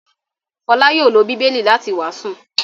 Fọlá yóò lọ Bíbélì láti wàásù.